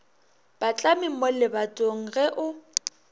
patlame mo lebatong ge o